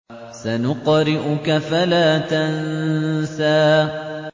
سَنُقْرِئُكَ فَلَا تَنسَىٰ